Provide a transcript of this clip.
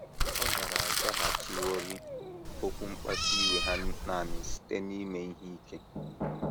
Ọ gaara azaghachiworị okwu mkpasu iwe ha nanị site n’ime ihe ike.